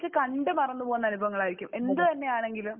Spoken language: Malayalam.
കണ്ട് മറന്ന് പോകുന്ന അനുഭവങ്ങളായിരിക്കും. എന്ത് തന്നെയാണെങ്കിലും